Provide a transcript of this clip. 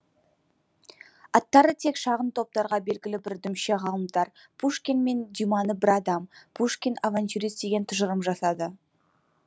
аттары тек шағын топтарға белгілі бір дүмше ғалымдар пушкин мен дюманы бір адам пушкин авантюрист деген тұжырым жасады